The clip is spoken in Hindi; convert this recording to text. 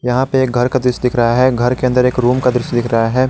यहां पे एक घर का दृश्य दिख रहा है घर के अन्दर एक रूम का दृश्य दिख रहा है।